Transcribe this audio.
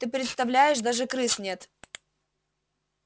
ты представляешь даже крыс нет